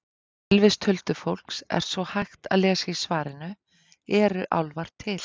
Um tilvist huldufólks er svo hægt að lesa í svarinu Eru álfar til?